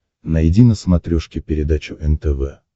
найди на смотрешке передачу нтв